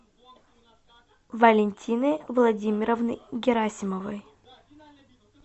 валентины владимировны герасимовой